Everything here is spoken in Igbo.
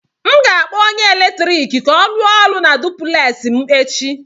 M ga-akpọ onye eletrik ka ọ rụọ ọrụ na duplex m echi